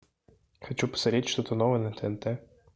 хочу посмотреть что то новое на тнт